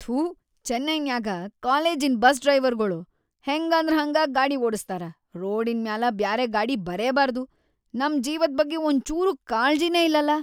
ಥೂ ಚೆನ್ನೈನ್ಯಾಗ ಕಾಲೇಜಿನ್‌ ಬಸ್‌ ಡ್ರೈವರ್‌ಗೊಳು ಹೆಂಗಂದ್ರ್‌ಹಂಗಾ ಗಾಡಿ ಓಡಸ್ತಾರ, ರೋಡಿನ್‌ ಮ್ಯಾಲ ಬ್ಯಾರೆ ಗಾಡಿ ಬರೇಬಾರ್ದು, ನಂ ಜೀವದ್‌ ಬಗ್ಗೆ ಒಂಚೂರೂ ಕಾಳ್ಜಿನೇ ಇಲ್ಲಲಾ.